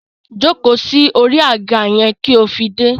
Jóko sí orí àga yẹn kí ó fi dé!